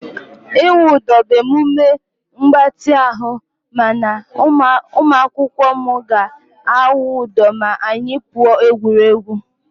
Ịwụ udo bụ emume mgbatị ahụ. Mụ na ụmụakwụkwọ m ga-awụ udo ma anyị pụọ egwuregwu